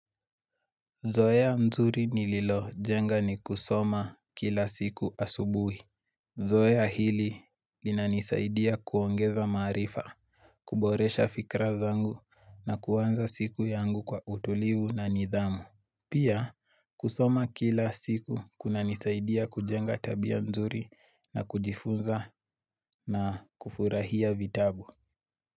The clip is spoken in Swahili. Zoea zuri nililojenga ni kusoma kila siku asubuhi. Zoea hili linanisaidia kuongeza maarifa, kuboresha fikra zangu na kuanza siku yangu kwa utulivu na nidhamu. Pia kusoma kila siku kuna nisaidia kujenga tabia nzuri na kujifunza na kufurahia vitabu.